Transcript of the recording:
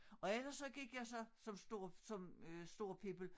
Og ellers så gik jeg så som stor som øh stor pibel